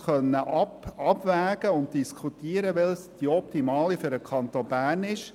So konnte auch nicht diskutiert werden, welches die optimale Variante für den Kanton Bern ist.